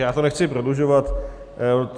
Já to nechci prodlužovat.